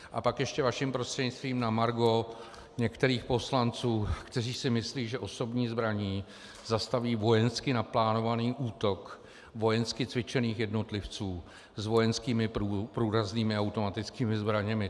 A pak ještě vaším prostřednictvím na margo některých poslanců, kteří si myslí, že osobní zbraní zastaví vojensky naplánovaný útok vojensky cvičených jednotlivců s vojenskými průraznými automatickým zbraněmi.